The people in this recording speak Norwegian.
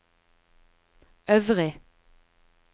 øvrig